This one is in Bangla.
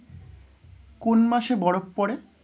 কোন মাসে বরফ পড়ে?